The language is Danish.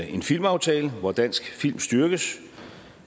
en filmaftale hvor dansk film styrkes